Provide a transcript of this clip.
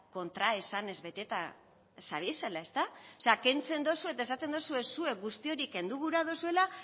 kontraesanez beteta zabiezela ezta o sea kentzen dozu eta esaten dozue zuek guzti hori kendu gura dozuela